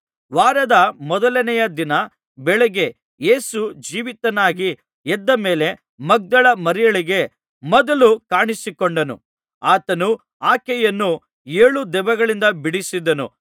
ವಾರದ ಮೊದಲನೆಯ ದಿನ ಬೆಳಿಗ್ಗೆ ಯೇಸು ಜೀವಿತನಾಗಿ ಎದ್ದ ಮೇಲೆ ಮಗ್ದಲದ ಮರಿಯಳಿಗೆ ಮೊದಲು ಕಾಣಿಸಿಕೊಂಡನು ಆತನು ಆಕೆಯನ್ನು ಏಳು ದೆವ್ವಗಳಿಂದ ಬಿಡಿಸಿದ್ದನು